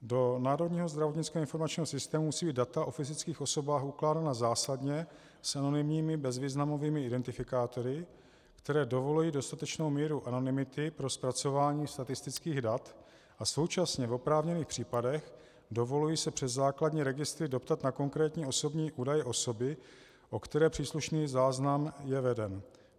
Do Národního zdravotnického informačního systému musí být data o fyzických osobách ukládána zásadně s anonymními bezvýznamovými identifikátory, které dovolují dostatečnou míru anonymity pro zpracování statistických dat a současně v oprávněných případech dovolují se přes základní registry doptat na konkrétní osobní údaje osoby, o které příslušný záznam je veden.